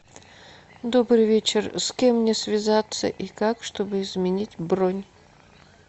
добрый вечер с кем мне связаться и как чтобы изменить бронь